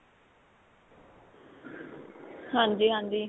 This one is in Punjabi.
ਹਾਂਜੀ ਹਾਂਜੀ.